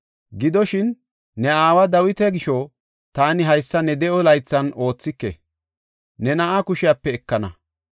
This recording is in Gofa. Gidoshin, ne aawa Dawita gisho taani haysa ne de7o laythan oothike, ne na7aa kushepe ekana.